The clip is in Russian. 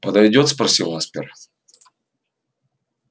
подойдёт спросил аспер